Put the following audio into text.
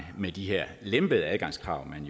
med de her lempede adgangskrav man